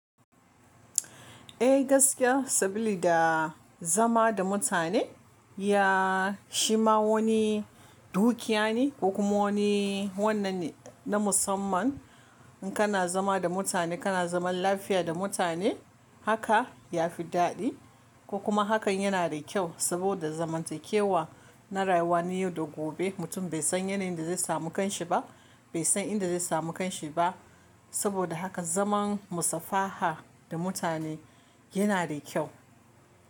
Eh gaskiya saboda da zama da mutane ya shima wani dukiya ne ko kuma wani wannan ne na musamman in kana zama da mutane kana zaman lafiya da mutane haka ya fi daɗi. Ko kuma hakan yana da ƙyau saboda zamantakewa na rayuwa ne yau da gobe mutum bai san yanayin da zai samu kanshi ba bai san inda zai samu kanshi ba saboda haka zaman musafaha da mutane yana da ƙyau.